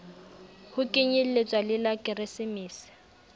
ho kenyelletswa le la keresemese